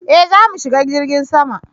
eh zamu shiga jirgin sama